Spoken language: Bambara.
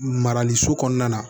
Marali so kɔnɔna na